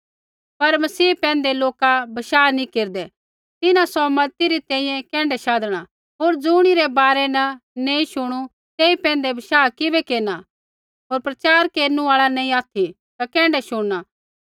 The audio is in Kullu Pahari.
पर मसीह पैंधै लोका बशाह नैंई केरदै तिन्हां सौ मज़ती री तैंईंयैं कैण्ढै शाधणा होर ज़ुणिरै बारै न नैंई शुणु तेई पैंधै बशाह किबै केरना होर प्रचार केरनु आल़ा नैंई ऑथि ता कैण्ढै शुणना